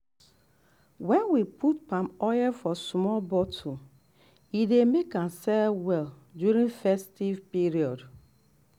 when we put palm oil for small bottle e dey make am sell well during festive period.